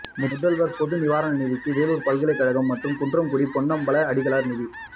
முதல்வர் பொதுநிவாரண நிதிக்கு வேலூர் பல்கலைக் கழகம் மற்றும் குன்றக்குடி பொன்னம்பல அடிகளார் நிதி